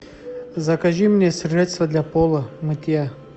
закажи мне средство для пола мытья